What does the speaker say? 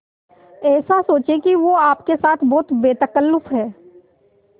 ऐसा सोचें कि वो आपके साथ बहुत बेतकल्लुफ़ है